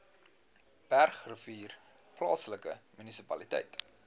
bergrivier plaaslike munisipaliteit